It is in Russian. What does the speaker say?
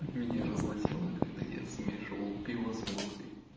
меня разносило когда я смешивал пиво с водкой